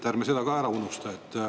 Ärme seda ära unustame.